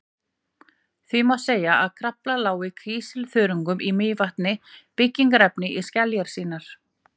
því má segja að krafla ljái kísilþörungum í mývatni byggingarefni í skeljar sínar